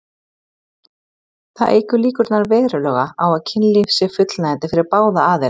Það eykur líkurnar verulega á að kynlífið sé fullnægjandi fyrir báða aðila.